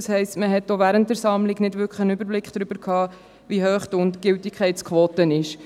Das heisst, man hatte auch während der Sammlung nicht wirklich einen Überblick darüber, wie hoch die Gültigkeitsquote ist.